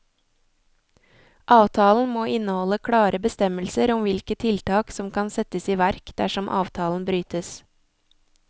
Avtalen må inneholde klare bestemmelser om hvilke tiltak som kan settes i verk dersom avtalen brytes.